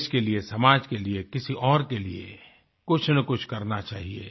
देश के लिए समाज के लिए किसी और के लिए कुछ न कुछ करना चाहिए